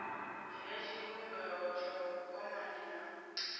dzhia tshivhumbeo tsha vhukwamani ha